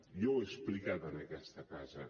jo ho he explicat en aquesta casa